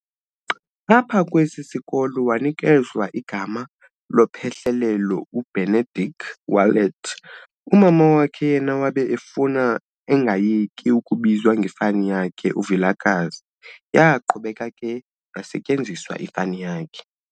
Apha kwesi sikolo wanikezwa igama lophehlelelo u"Benedict Wallet", umama wakhe yena wabe efuna angayeki ukubizwa ngefani yakhe u"Vilakazi", yaqhubeka ke yasetyenziswa ifani yakhe.